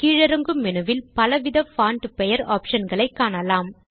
கீழிறங்கும் மெனுவில் பலவித பான்ட் பெயர் ஆப்ஷன் களை காணலாம்